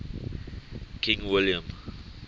king william